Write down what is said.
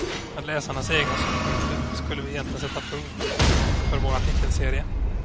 Med läsarnas egna synpunkter skulle vi egentligen sätta punkt för vår artikelserie.